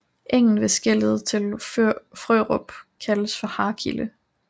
Engen ved skellet til Frørup kaldes for Harkile